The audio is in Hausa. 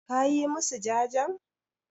Ka yi masu jajen?